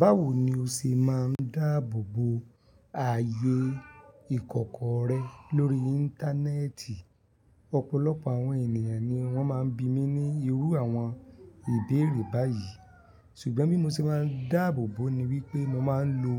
Báwo ni o ṣe máa ń dáàbò bo ààyè ìkọ̀kọ̀ rẹ lórí Íńtánẹ́ẹ̀tì? Ọ̀pọ̀lọpọ̀ àwọn ènìyàn ni wọ́n máa ń bi mí ní irú àwọn ìbéèrè báyìí, ṣùgbọ́n bí mo ṣe máa ń dáàbò bo ni wípé mo máa ń lo